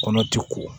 Kɔnɔ ti ko